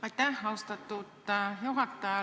Aitäh, austatud juhataja!